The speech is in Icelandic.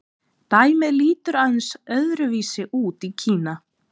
Dæmið lítur aðeins öðru vísi út í Kína.